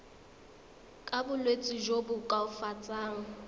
ka bolwetsi jo bo koafatsang